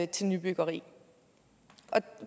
til nybyggeri og